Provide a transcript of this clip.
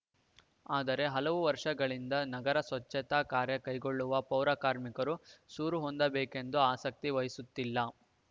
ಆದರೆ ಹಲವು ವರ್ಷಗಳಿಂದ ನಗರದ ಸ್ವಚ್ಛತಾ ಕಾರ್ಯ ಕೈಗೊಳ್ಳುವ ಪೌರ ಕಾರ್ಮಿಕರು ಸೂರು ಹೊಂದಬೇಕೆಂದು ಆಸಕ್ತಿ ವಹಿಸುತ್ತಿಲ್ಲ